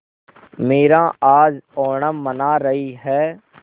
मीरा आज ओणम मना रही है